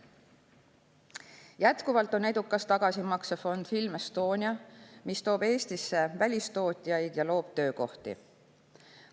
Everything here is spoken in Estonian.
Jätkuvalt on edukas tagasimaksefond Film Estonia, mis toob Eestisse välistootjaid ja loob töökohti.